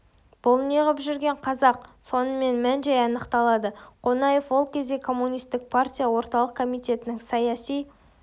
бұл не ғып жүрген қазақ сонымен мән-жай анықталады қонаев ол кезде коммунистік партия орталық комитетінің саяси